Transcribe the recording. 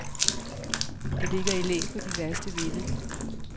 Det ligger i læ for de værste vinde.